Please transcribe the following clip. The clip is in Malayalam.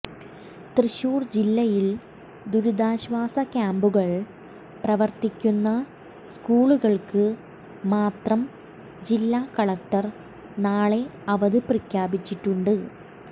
തൃശൂർ ജില്ലയിൽ ദുരിതാശ്വാസ ക്യാമ്പുകൾ പ്രവർത്തിക്കുന്ന സ്കൂളുകൾക്ക് മാത്രം ജില്ലാ കളക്ടർ നാളെ അവധി പ്രഖ്യാപിച്ചിട്ടുണ്ട്